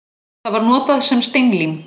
Það var notað sem steinlím.